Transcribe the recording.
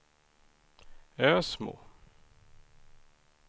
Ösmo